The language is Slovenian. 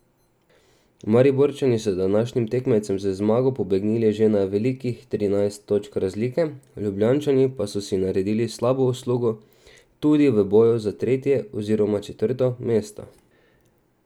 Mariborčani so današnjim tekmecem z zmago pobegnili že na velikih trinajst točk razlike, Ljubljančani pa so si naredili slabo uslugo tudi v boju za tretje oziroma četrto mesto.